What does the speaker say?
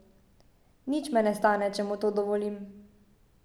Nič me ne stane, če mu to dovolim.